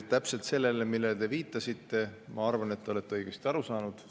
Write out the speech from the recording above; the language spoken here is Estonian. Täpselt see, millele te viitasite – ma arvan, et te olete õigesti aru saanud.